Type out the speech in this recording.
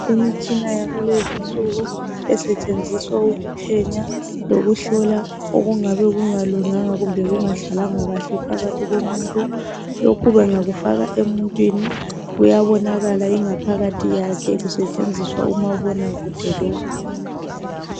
Imitshina yakulezi insuku esetshenziswa ukuphenya lokuhlola okungabe kungalunganga kumbe kungahlalanga kuhle phakathi komuntu . Lokhu bengakufaka emuntwini kuyabonakala ingaphakathi yakhe kusetshenziswa umabonakude lo.